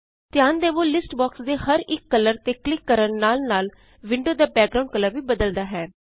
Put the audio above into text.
ਧਿਆਨ ਦਵੋ list box ਦੇ ਹਰ ਇਕ ਕਲਰ ਤੇ ਕਲਿਕ ਕਰਨ ਨਾਲ ਨਾਲ ਵਿੰਡੋ ਦਾ ਬੈਕਗ੍ਰਾਉਨਡ ਕਲਰ ਵੀ ਬਦਲਦਾ ਹੈ